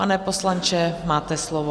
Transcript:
Pane poslanče, máte slovo.